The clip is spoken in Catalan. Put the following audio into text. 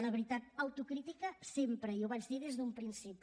la veritat autocrítica sempre i ho vaig dir des d’un principi